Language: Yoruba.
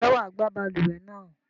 Ǹjẹ́ wà á gbá balùwẹ̀ náà?